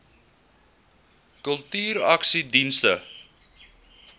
kultuursakedienste